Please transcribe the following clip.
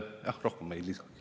Jah, rohkem ma ei lisagi.